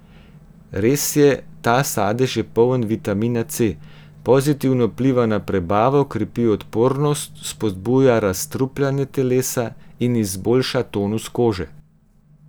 Res je, ta sadež je poln vitamina C, pozitivno vpliva na prebavo, krepi odpornost, spodbuja razstrupljanje telesa in izboljša tonus kože.